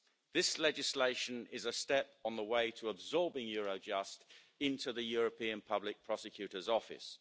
This legislation is a step on the way to absorbing Eurojust into the European Public Prosecutor's office.